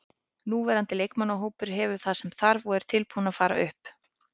Núverandi leikmannahópur hefur það sem þarf og er tilbúinn til að fara upp.